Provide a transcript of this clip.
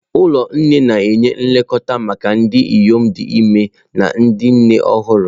Ụlọ nne na-enye nlekọta maka ndị inyom dị ime na ndị nne ọhụrụ.